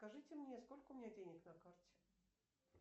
скажите мне сколько у меня денег на карте